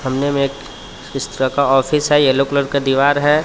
सामने में एक इस तरह का ऑफिस है येलो कलर का दीवार है.